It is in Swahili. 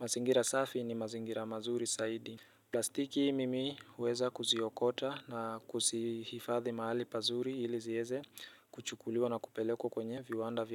mazingira safi ni mazingira mazuri zaidi plastiki mimi huweza kuziokota na kuzihifadhi mahali pazuri ili zieze kuchukuliwa na kupelekwa kwenye viwanda vya.